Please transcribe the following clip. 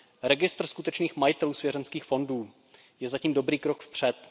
Registr skutečných majitelů svěřenských fondů je zatím dobrý krok vpřed.